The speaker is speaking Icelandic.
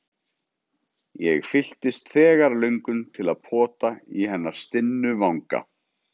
Ég fylltist þegar löngun til að pota í hennar stinnu vanga.